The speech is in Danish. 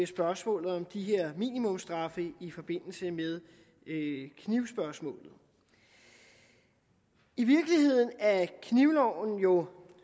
spørgsmålet om de her minimumsstraffe i forbindelse med knivspørgsmålet i virkeligheden er knivloven jo